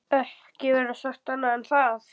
Ekki verður sagt annað en að